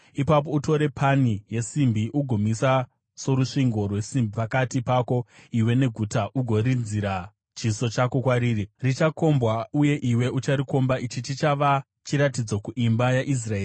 Ipapo utore pani yesimbi, ugoimisa sorusvingo rwesimbi pakati pako iwe neguta ugorinzira chiso chako kwariri. Richakombwa, uye iwe ucharikomba. Ichi chichava chiratidzo kuimba yaIsraeri.